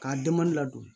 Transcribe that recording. K'a denba ladon